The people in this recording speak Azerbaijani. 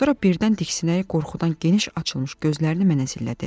Sonra birdən diksinib qorxudan geniş açılmış gözlərini mənə zillədi.